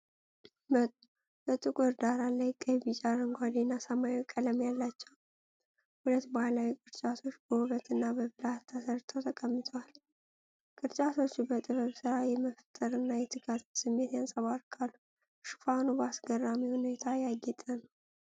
በጥቁር ዳራ ላይ ቀይ፣ ቢጫ፣ አረንጓዴ እና ሰማያዊ ቀለም ያላቸው ሁለት ባህላዊ ቅርጫቶች በውበትና በብልሃት ተሰርተው ተቀምጠዋል። ቅርጫቶቹ በጥበብ ሥራ የመፍጠርና የትጋትን ስሜት ያንጸባርቃሉ፤ ሽፋኑ በአስገራሚ ሁኔታ ያጌጠ ነው።